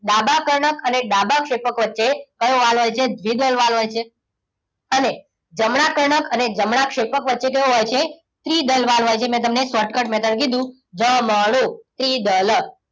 ડાબા કર્ણક અને ડાબા ક્ષેપક વચ્ચે કયો વાલ્વ હોય છે? દ્વિદલ વાલ્વ હોય છે. અને અને જમણા કણક અને જમણા ક્ષેપક વચ્ચે કયો હોય છે? ત્રિદલ વાલ્વ હોય છે. મેં તમને shortcut માં કીધું ધમડો ત્રીદલ.